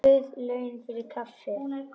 Guð laun fyrir kaffið.